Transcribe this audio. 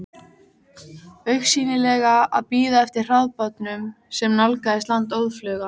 Augsýnilega að bíða eftir hraðbátnum sem nálgaðist land óðfluga.